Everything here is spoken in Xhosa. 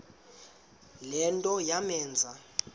le nto yamenza